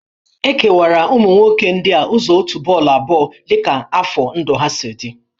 E kewara ụmụ nwoke ndị a ụzọ òtù bọọlụ abụọ dị ka afọ ndụ ha si dị